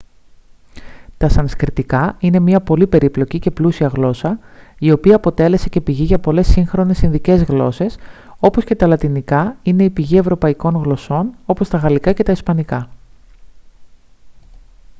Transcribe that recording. τα σανσκριτικά είναι μια πολύ περίπλοκη και πλούσια γλώσσα η οποία αποτέλεσε και πηγή για πολλές σύγχρονες ινδικές γλώσσες όπως και τα λατινικά είναι η πηγή ευρωπαϊκών γλωσσών όπως τα γαλλικά και τα ισπανικά